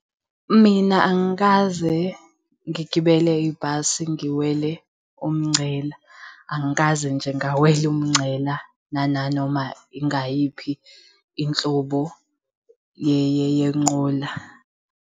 Mina angikaze ngigibele ibhasi ngiwele umngcela. Angikaze nje ngawela umngcela nananoma ingayiphi inhlobo yenqola.